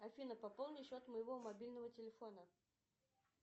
афина пополни счет моего мобильного телефона